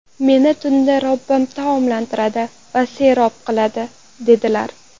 Meni tunda Robbim taomlantiradi va serob qiladi”, dedilar.